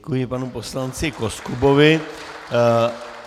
Děkuji panu poslanci Koskubovi.